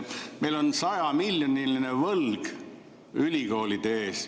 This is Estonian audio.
Meil on 100‑miljoniline võlg ülikoolide ees.